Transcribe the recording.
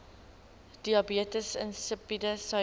diabetes insipidus suiker